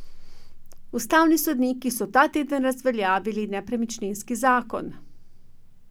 Ustavni sodniki so ta teden razveljavili nepremičninski zakon.